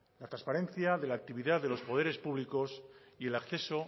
la transparencia de la actividad de los poderes públicos y el acceso